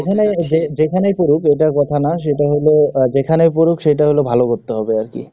যেখানেই যে যেখানেই করুক, এটা কথা না, যেটা হল যেখানে পড়ুক, সেটা হল ভালো করতে হবে, আর কি।